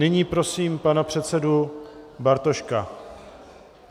Nyní prosím pana předsedu Bartoška.